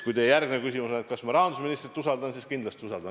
Kui teie järgmine küsimus on, kas ma rahandusministrit usaldan, siis: kindlasti usaldan.